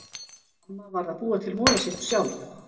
Amma varð að búa til molasykur sjálf.